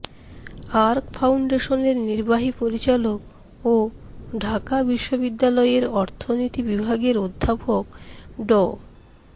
arc ফাউন্ডেশনের নির্বাহী পরিচালক ও ঢাকা বিশ্ববিদ্যালয়ের অর্থনীতি বিভাগের অধ্যাপক ড